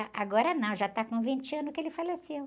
Ah agora não, já está com vinte anos que ele faleceu.